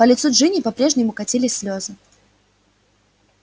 по лицу джинни по-прежнему катились слёзы